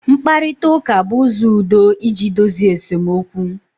mkparita uka bu uzo udo iji dozie esemokwu